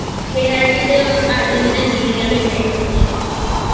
Penalty তে Argentina জিতে গেল এটাই হচ্ছে বড় ব্যাপার I